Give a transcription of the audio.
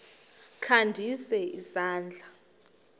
kha ndise isandla